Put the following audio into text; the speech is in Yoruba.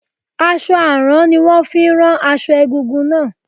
Aṣọ àrán ni wón fi rán aṣọ egúngún náà.